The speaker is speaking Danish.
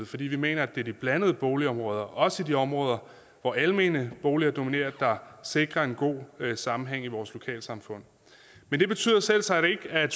fordi vi mener at det er de blandede boligområder også i de områder hvor almene boliger dominerer der sikrer en god sammenhæng i vores lokalsamfund men det betyder selvsagt ikke at